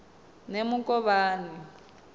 nemukovhani